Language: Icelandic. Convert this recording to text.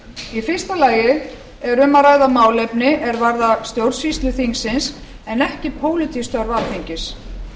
í fyrsta lagi er um að ræða málefni er varða stjórnsýslu þingsins en ekki pólitísk störf alþingis